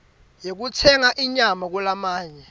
yekutsenga inyama kulamanye